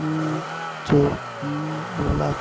um to um relax.